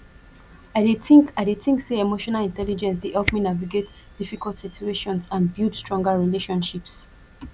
i dey think i dey think say emotional intelligence dey help me navigate difficult situations and build stronger relationships